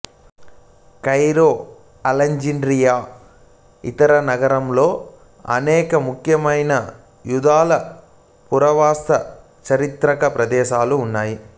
Cairo Alexandria ఇతర నగరాలలో అనేక ముఖ్యమైన యూదుల పురావస్తు చారిత్రక ప్రదేశాలు ఉన్నాయి